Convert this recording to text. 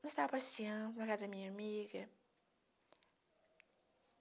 Nós estávamos passeando na casa da minha amiga.